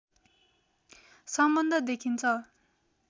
सम्बन्ध देखिन्छ